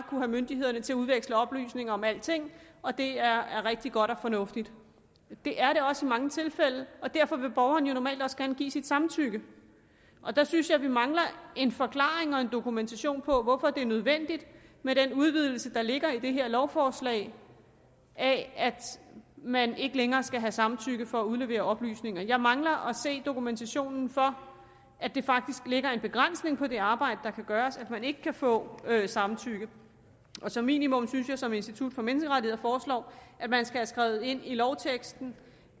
have myndighederne til at udveksle oplysninger om alting og at det er rigtig godt og fornuftigt det er det også i mange tilfælde og derfor vil borgerne jo normalt også gerne give sit samtykke der synes jeg at vi mangler en forklaring og en dokumentation på hvorfor det er nødvendigt med den udvidelse der ligger i det her lovforslag af at man ikke længere skal have samtykke for at udlevere oplysninger jeg mangler at se dokumentationen for at det faktisk lægger en begrænsning på det arbejde der kan gøres at man ikke kan få samtykke som minimum synes jeg som institut for menneskerettigheder foreslår at man skal have skrevet ind i lovteksten